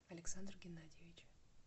александр геннадиевич